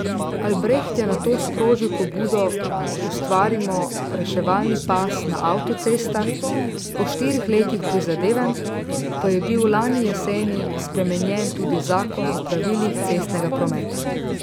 Albreht je nato sprožil pobudo Ustvarimo reševalni pas na avtocestah, po štirih letih prizadevanj pa je bil lani jeseni spremenjen tudi zakon o pravilih cestnega prometa.